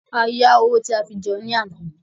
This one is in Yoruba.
A yá owó tí a fi jẹun ní àná ni.